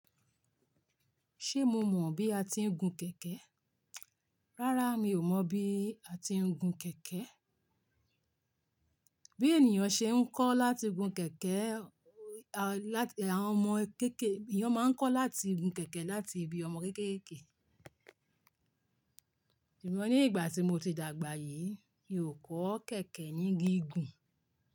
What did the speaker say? Ṣé mo mọ̀ bí a ti ń gun kẹ̀kẹ́? Rárá mi ò mọ̀ bí a ti ń gun kẹ̀kẹ́. Bí ènìyàn ṣe ń kọ́ láti gun kẹ̀kẹ́, àwọn ọmọ kéékèè, èèyàn máa ń kọ́ láti gun kẹ̀kẹ́ láti ibi ọmọ kéékèèké. Ṣùgbọ́n ní ìgbà tí mo ti dàgbà yìí, mi ò kọ́ kẹ̀kẹ́ ní gígùn.